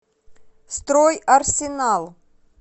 строй арсенал